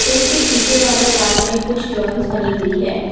खेड के पीछे वाले वाल्स में कुछ ड्राइंग बनी हुई है।